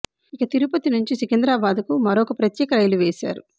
ఇక తిరుపతి నుంచి సికింద్రాబాద్ కు మరో ప్రత్యేక రైలు వేశారు